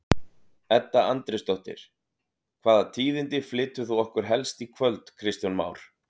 Edda Andrésdóttir: Hvaða tíðindi flytur þú okkur helst í kvöld Kristján Már?